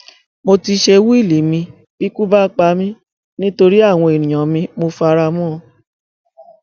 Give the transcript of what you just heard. mo ti ṣe wíìlì mi bíkú bá pa mí nítorí àwọn èèyàn mi mọ fara mọ ọn